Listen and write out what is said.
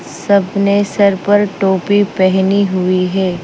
सबने सर पर टोपी पहनी हुई है।